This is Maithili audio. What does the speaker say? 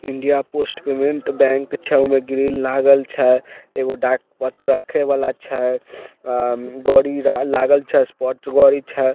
इंडिया पोस्ट पेमेंट्स बैंक छै ओमे ग्रील लागल छै एगो डाक पत्र रखे वाला छै बॉडी लागल छै स्पोर्ट्स छै।